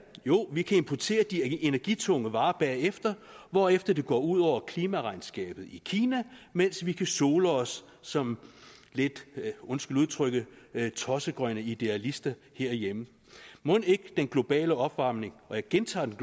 jo vi kan importere de energitunge varer bagefter hvorefter det går ud over klimaregnskabet i kina mens vi kan sole os som lidt undskyld udtrykket tossegrønne idealister herhjemme mon ikke den globale opvarmning jeg gentager den